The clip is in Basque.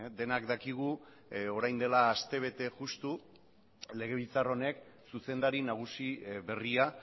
denak dakigu orain dela aste bete justu legebiltzar honek zuzendari nagusi berria